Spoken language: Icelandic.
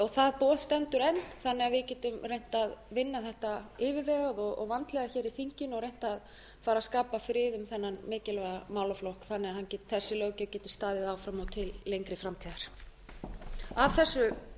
það boð stendur enn þannig að við getum reynt að vinna þetta yfirvegað og vandlega hér í þinginu og reynt að fara að skapa frið um þennan mikilvæga málaflokk þannig að þessi löggjöf geti staðið áfram og til lengri framtíðar að þessu